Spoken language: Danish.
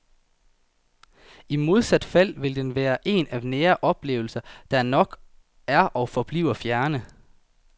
I modsat fald vil den være en af nære oplevelser, der nok er og forbliver fjerne.